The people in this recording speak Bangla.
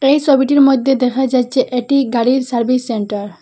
এই সবিটির মধ্যে দেখা যাচ্ছে এটি গাড়ির সার্ভিস সেন্টার ।